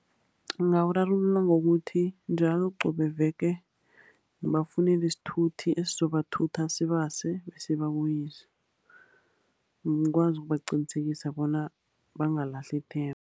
Ngingawurarulula ngokuthi njalo qobe veke ngibafunele isithuthi, esizobathutha sibase, besibabuyise, ngikwazi ukubaqinisekisa bona bangalahli ithemba.